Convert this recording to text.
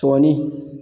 Tɔni